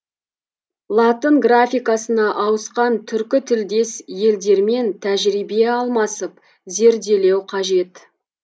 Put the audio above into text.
латын графикасына ауысқан түркі тілдес елдермен тәжірибе алмасып зерделеу қажет